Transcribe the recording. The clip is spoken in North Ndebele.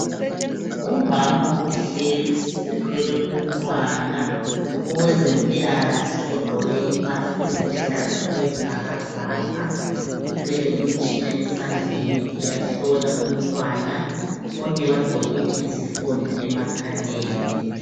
Umama uhlezi uthwele umntwana owezempilakahle ogqoke impahla eziluhlaza okwesibhakabhaka uthwele umtshina esandleni uyahlola umntwana bonke bagqokile izifonyo emakhaleni